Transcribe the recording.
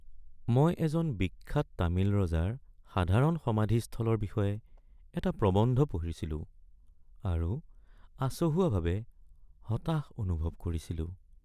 মই এজন বিখ্যাত তামিল ৰজাৰ সাধাৰণ সমাধিস্থলৰ বিষয়ে এটা প্ৰবন্ধ পঢ়িছিলোঁ আৰু আচহুৱাভাৱে হতাশ অনুভৱ কৰিছিলোঁ।